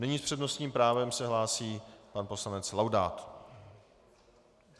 Nyní s přednostním právem se hlásí pan poslanec Laudát.